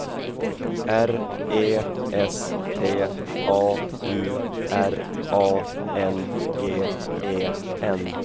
R E S T A U R A N G E N